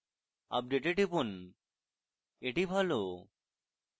update এ টিপুন এটি ভালো